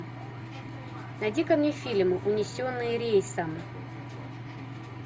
найди ка мне фильм унесенные рейсом